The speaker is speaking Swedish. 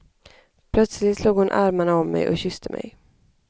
Plötsligt slog hon armarna om mig och kysste mig.